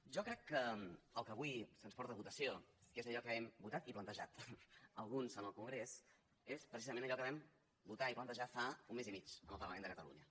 jo crec que el que avui se’ns porta a votació que és allò que hem votat i plantejat alguns en el congrés és precisament allò que vam votar i plantejar fa un mes i mig en el parlament de catalunya